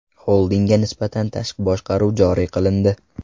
Xoldingga nisbatan tashqi boshqaruv joriy qilindi.